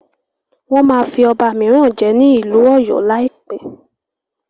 Wọ́n máa fí ọba míràn jẹ ní ìlú ọ̀yọ́ lá láìpẹ́.